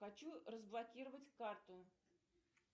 хочу разблокировать карту